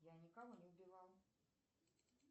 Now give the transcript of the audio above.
я никого не убивала